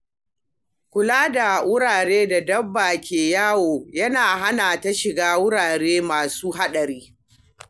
Kula da wuraren da dabba ke yawo yana hana ta shiga wurare masu haɗari.